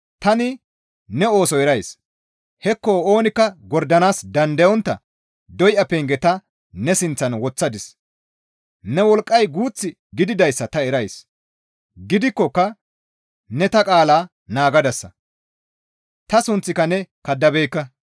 Tani ne ooso erays; hekko oonikka gordanaas dandayontta doya penge ta ne sinththan woththadis; ne wolqqay guuth gididayssa ta erays; gidikkoka ne ta qaalaa naagadasa; ta sunththaaka ne kaddabeekka.